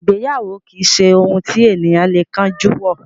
Ìgbéyàwó kìí ṣe ohun tí ènìyàn lè kánjú wọ.